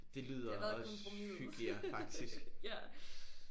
Det lyder også hyggeligere faktisk